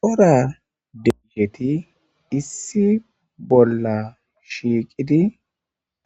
Cora debuheti issi bolla shiiqidi